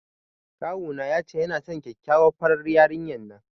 Kawuna ya ce yana son kyakkyawar farar yarinyar nan.